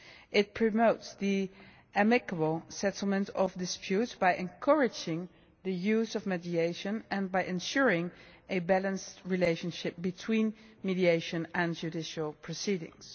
It promotes the amicable settlement of disputes by encouraging the use of mediation and by ensuring a balanced relationship between mediation and judicial proceedings.